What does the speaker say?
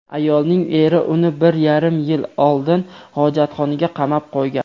Ayolning eri uni bir yarim yil oldin hojatxonaga qamab qo‘ygan.